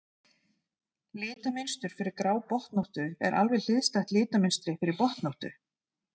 litamynstur fyrir grábotnóttu er alveg hliðstætt litamynstri fyrir botnóttu